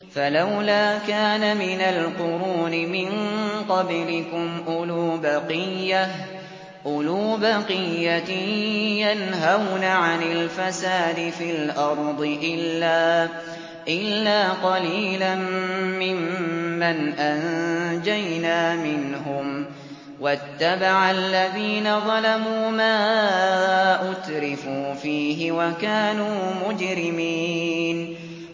فَلَوْلَا كَانَ مِنَ الْقُرُونِ مِن قَبْلِكُمْ أُولُو بَقِيَّةٍ يَنْهَوْنَ عَنِ الْفَسَادِ فِي الْأَرْضِ إِلَّا قَلِيلًا مِّمَّنْ أَنجَيْنَا مِنْهُمْ ۗ وَاتَّبَعَ الَّذِينَ ظَلَمُوا مَا أُتْرِفُوا فِيهِ وَكَانُوا مُجْرِمِينَ